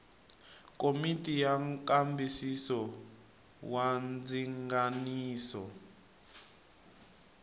komiti ya nkambisiso wa ndzinganiso